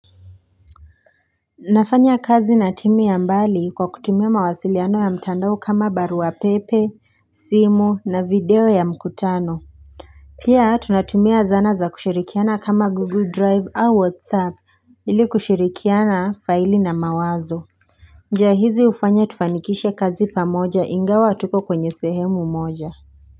Nafanya kazi na timu ya mbali kwa kutumia mawasiliano ya mtandao kama barua pepe simu na video ya mkutano pia tunatumia zana za kushirikiana kama google drive au whatsapp ili kushirikiana faili na mawazo njia hizi hufanya tufanikishe kazi pamoja ingawa hatuko kwenye sehemu moja.